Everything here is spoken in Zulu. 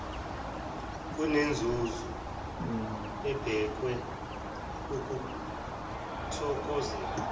kunenzuzo ebhekwe ukuthokozelwa